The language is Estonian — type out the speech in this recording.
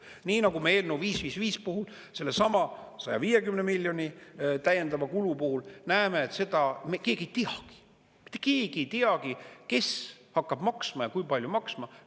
Nii nagu me eelnõu 555 puhul sellesama 150 miljoni täiendava kulu puhul näeme, et keegi ei teagi, mitte keegi ei teagi, kes hakkab maksma ja kui palju maksma.